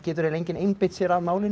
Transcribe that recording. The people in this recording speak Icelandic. enginn einbeitt sér að málinu